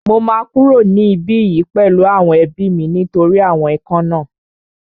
Mo máa kúrò ní ibí yìí pẹ̀lú àwọn ẹbí mi nítorí àwọn ikán náà